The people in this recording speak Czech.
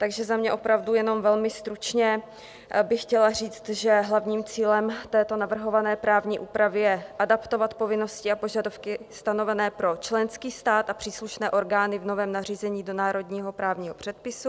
Takže za mě opravdu jenom velmi stručně bych chtěla říct, že hlavním cílem této navrhované právní úpravy je adaptovat povinnosti a požadavky stanovené pro členský stát a příslušné orgány v novém nařízení do národního právního předpisu.